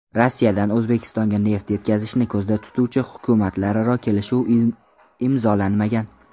Rossiyadan O‘zbekistonga neft yetkazishni ko‘zda tutuvchi hukumatlararo kelishuv imzolanmagan.